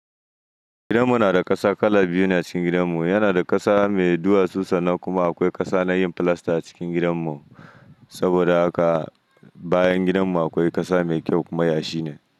Gidanmu na da ƙasa kala biyu ne a cikin gidanmu ai yana da ƙasa mai duwatsu sannan kuma akwai ƙasa na yin filasta cikin gidanmu. Saboda haka bayan gidanmu akwai ƙasa mai kyau kuma yashi ne.